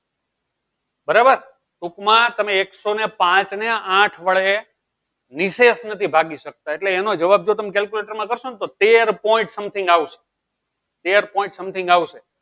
બરાબર ટુંક માં તમે એક સૌ ને પાંચ ને આઠ વડે નીસેમાંથી ભાગી સકતા એટલે એનો જવાબ તમે calculator માં કરશો તેર point something આવશે તેર point something આવશે